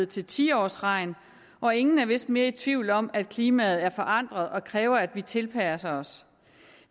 til tiårsregn og ingen er vist mere i tvivl om at klimaet er forandret og kræver at vi tilpasser os